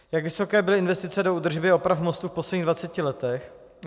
Jak vysoké byly investice do údržby a oprav mostu v posledních 20 letech?